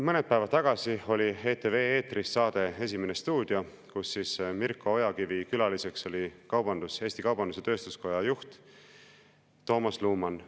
Mõned päevad tagasi oli ETV eetris saade "Esimene stuudio", kus Mirko Ojakivi külaline oli Eesti Kaubandus‑Tööstuskoja juht Toomas Luman.